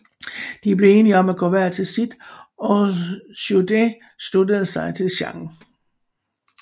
De blev enige om at gå hver til sit og Zhu De sluttede sig til Zhang